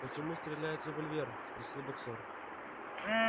почему стреляет револьвер спросил боксёр